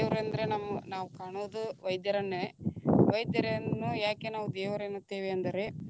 ದೇವರಂದ್ರ ನಮ್ಮ ನಾವ ಕಾಣೊದು ವೈದ್ಯರನ್ನೇ, ವೈದ್ಯರನ್ನು ಯಾಕೆ ನಾವು ದೇವರು ಎನ್ನುತ್ತೇವೆ ಅಂದರೆ.